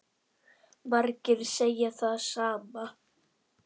Margir segja það sama.